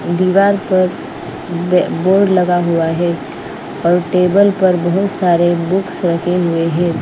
दीवार पर वेअबोर्ड लगा हुआ है और टेबल पर बहुत सारे बुक्स रखे हुए हैं।